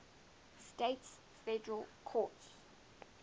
states federal courts